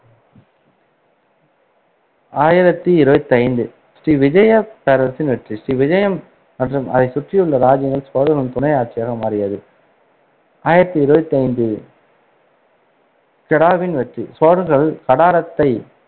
ஆயிரத்தி இருவத்தைந்து ஸ்ரீவிஜய பேரரசின் வெற்றிஸ்ரீவிஜயம் மற்றும் அதைச் சுற்றியுள்ள ராஜ்ஜியங்கள் சோழர் துணை ஆட்சியாக மாறியது ஆயிரத்தி இருவத்தி கெடாவின் வெற்றிசோழர்கள் கடாரத்தை